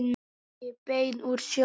Ekki bein úr sjó.